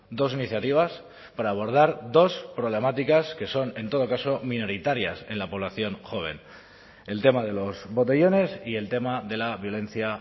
dos iniciativas para abordar dos problemáticas que son en todo caso minoritarias en la población joven el tema de los botellones y el tema de la violencia